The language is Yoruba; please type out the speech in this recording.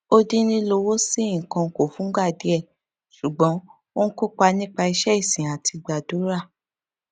ó dín lílọwọsí nnkan kù fúngbà díè ṣùgbọn ó ń kópa nípa iṣé ìsìn àti gbàdúrà